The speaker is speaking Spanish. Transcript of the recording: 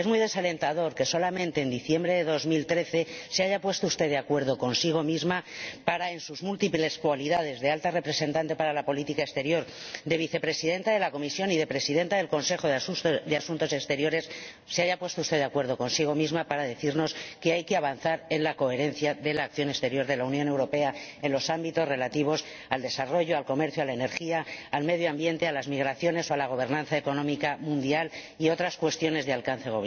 Es muy desalentador que solamente en diciembre de 2013 se haya puesto usted de acuerdo consigo misma —en sus múltiples cualidades de Alta Representante de la Unión para Asuntos Exteriores y Política de Seguridad, de Vicepresidenta de la Comisión y de Presidenta del Consejo de Asuntos Exteriores— para decirnos que hay que avanzar en la coherencia de la acción exterior de la Unión Europea en los ámbitos relativos al desarrollo, al comercio, a la energía, al medio ambiente, a las migraciones o a la gobernanza económica mundial y otras cuestiones de alcance